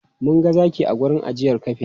Mun ga zaki a wurin ajiyar kafe.